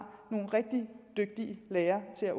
nogle rigtig dygtige lærere til at